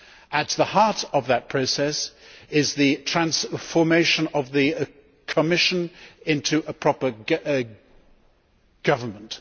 At the heart of that process is the transformation of the Commission into a proper government.